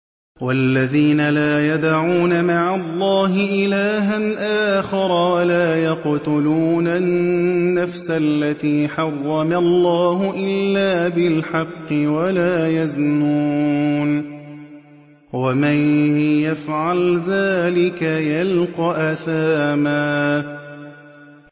وَالَّذِينَ لَا يَدْعُونَ مَعَ اللَّهِ إِلَٰهًا آخَرَ وَلَا يَقْتُلُونَ النَّفْسَ الَّتِي حَرَّمَ اللَّهُ إِلَّا بِالْحَقِّ وَلَا يَزْنُونَ ۚ وَمَن يَفْعَلْ ذَٰلِكَ يَلْقَ أَثَامًا